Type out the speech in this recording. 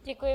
Děkuji.